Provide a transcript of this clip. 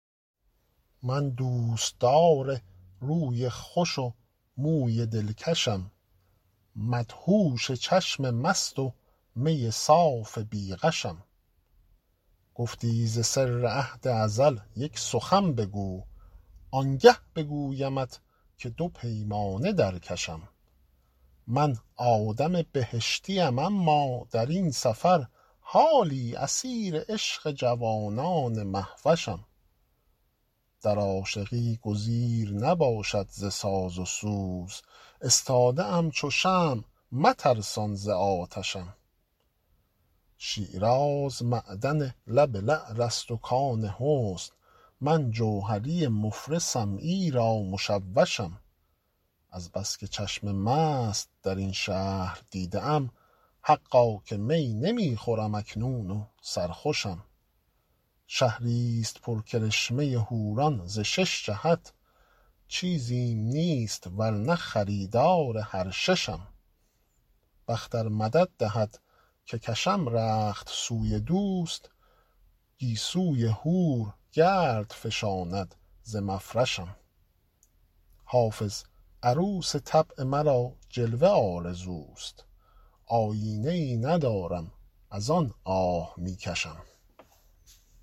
من دوستدار روی خوش و موی دلکشم مدهوش چشم مست و می صاف بی غشم گفتی ز سر عهد ازل یک سخن بگو آنگه بگویمت که دو پیمانه در کشم من آدم بهشتیم اما در این سفر حالی اسیر عشق جوانان مهوشم در عاشقی گزیر نباشد ز ساز و سوز استاده ام چو شمع مترسان ز آتشم شیراز معدن لب لعل است و کان حسن من جوهری مفلسم ایرا مشوشم از بس که چشم مست در این شهر دیده ام حقا که می نمی خورم اکنون و سرخوشم شهریست پر کرشمه حوران ز شش جهت چیزیم نیست ور نه خریدار هر ششم بخت ار مدد دهد که کشم رخت سوی دوست گیسوی حور گرد فشاند ز مفرشم حافظ عروس طبع مرا جلوه آرزوست آیینه ای ندارم از آن آه می کشم